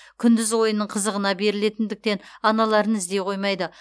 күндіз ойынның қызығына берілетіндіктен аналарын іздей қоймайды